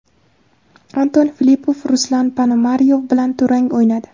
Anton Filippov Ruslan Ponomaryov bilan durang o‘ynadi.